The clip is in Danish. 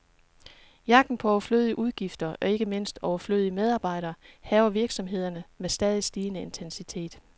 Jagten på overflødige udgifter, og ikke mindst overflødige medarbejdere, hærger virksomhederne med stadig stigende intensitet.